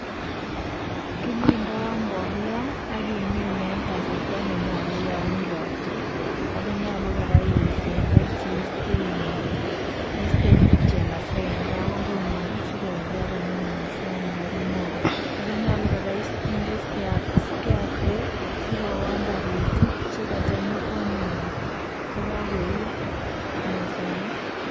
Kimindoi mbolea, ak keminei eng kasarta ne nyolu yo mi ropta. Ako nyolu kora isemberchi iiste chemasai eng kabungung'ung sikoruryo komie mosong'ik ak mwogo. Nyalu kora inde scare craw sikoon taritik chekata nyokoamei chekakoiyo mosong'ik.